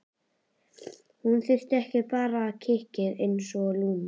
Hún þurfti bara kikkið einsog Lúna.